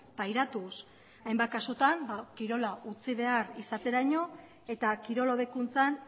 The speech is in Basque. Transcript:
pairatuz hainbat kasutan kirola utzi behar izateraino eta kirol hobekuntzan